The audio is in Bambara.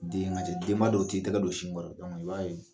Den denba dɔw t'u tɛgɛ don sin kɔrɔ i b'a ye